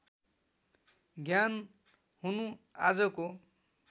ज्ञान हुनु आजको